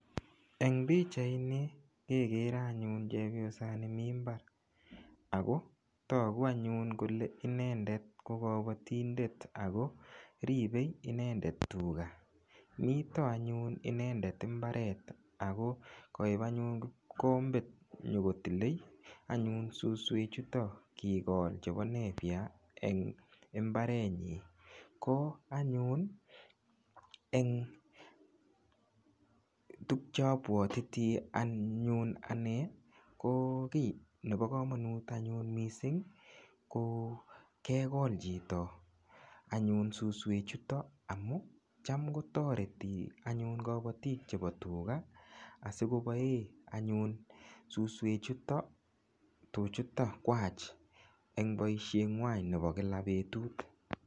Eng pichait ni kegere anyun chebiosani mi mbara agotogu anyun kole inendet ko kobotindet Ako ribei I endet anyun tuga mito anyun inendet imbaret ako kaip anyun mukombet nyokotilei anyun susuek chuton kigol chebo nepie en imbaret nyi ko anyun eng tukcheapwatiti anyun ni ko kiy nebo komonut anyun mising kokekol chito anyun susuek chutok . Ako cham kotoreti anyun kobotik chebo tuga asikopoe anyun susuek chuton tuchuta kwach eng boishet ng'wan nebo kila betut.